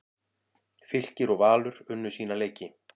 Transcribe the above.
Fylkir og Valur unnu sína leiki